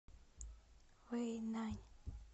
вэйнань